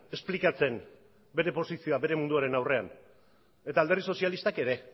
esplikatzen bere posizioa bere munduaren aurrean eta alderdi sozialistak ere